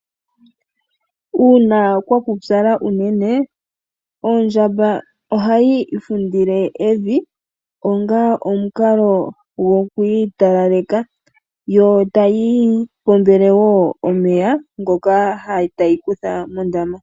Uuna kwa pupyala unene ondjamba ohayi ifundile evi onga omukalo gokuitalaleka yo tayi ipombele wo omeya ngoka tayi kutha mondama.